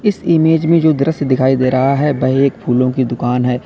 इस इमेज में जो दृश्य दिखाई दे रहा है वह एक फूलों की दुकान है।